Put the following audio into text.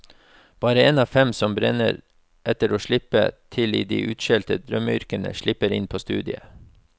Bare en av fem som brenner etter å slippe til i det utskjelte drømmeyrket, slipper inn på studiet.